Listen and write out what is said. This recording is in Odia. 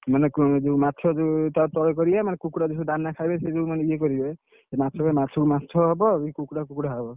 ମାନେ ମାଛ ଟା ତଳେ କରିଆ କୁକୁଡ଼ା ଦାନ ଖାଇବେ ସେଇ ଯୋଉ ମାନେ ୟେ କରିବେ, ସେ ମାଛକୁ ମାଛକୁ ମାଛ ହବ ଆଉ କୁକୁଡ଼ାକୁ କୁକୁଡ଼ା ହବ।